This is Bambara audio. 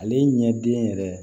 Ale ɲɛ den yɛrɛ